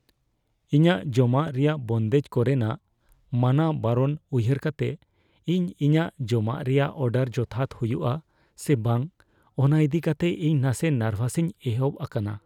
ᱤᱧᱟᱹᱜ ᱡᱚᱢᱟᱜ ᱨᱮᱭᱟᱜ ᱵᱚᱱᱫᱮᱡ ᱠᱚᱨᱮᱱᱟᱜ ᱢᱟᱱᱟ ᱵᱟᱨᱚᱱ ᱩᱭᱦᱟᱹᱨ ᱠᱟᱛᱮ, ᱤᱧ ᱤᱧᱟᱹᱜ ᱡᱚᱢᱟᱜ ᱨᱮᱭᱟᱜ ᱚᱰᱟᱨ ᱡᱚᱛᱷᱟᱛ ᱦᱩᱭᱩᱜᱼᱟ ᱥᱮ ᱵᱟᱝ ᱚᱱᱟ ᱤᱫᱤ ᱠᱟᱛᱮ ᱤᱧ ᱱᱟᱥᱮ ᱱᱟᱨᱵᱷᱟᱥᱤᱧ ᱮᱦᱚᱵ ᱟᱠᱟᱱᱟ ᱾